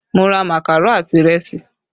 Mo ra makaro àti ìrẹsì